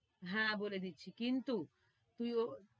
হ্যাঁ বলে কিন্তু, তুই ও~